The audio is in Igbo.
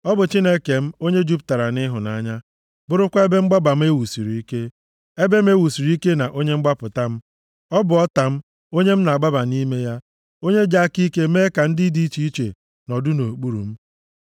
Ọ bụ Chineke m, onye jupụtara nʼịhụnanya, bụrụkwa ebe mgbaba m e wusiri ike, ebe m e wusiri ike na onye mgbapụta m, ọ bụ ọta m, onye m na-agbaba nʼime ya, onye ji aka ike mee ka ndị dị iche iche nọdụ nʼokpuru m.